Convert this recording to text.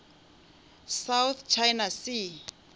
south china sea